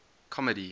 comedy